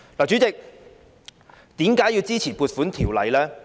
主席，為何要支持《條例草案》呢？